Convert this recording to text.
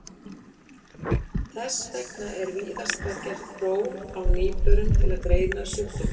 Þess vegna er víðast hvar gert próf á nýburum til að greina sjúkdóminn.